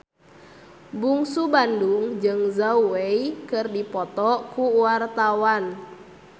Bungsu Bandung jeung Zhao Wei keur dipoto ku wartawan